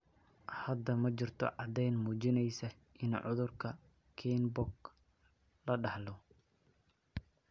Hadda ma jirto caddayn muujinaysa in cudurka Kienbock la dhaxlo.